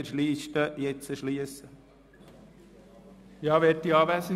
Ich schliesse jetzt die Rednerliste.